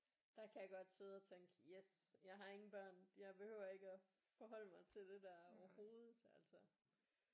Der kan jeg godt sidde og tænke yes jeg har ingen børn jeg behøver ikke at forholde mig til det der overhovedet altså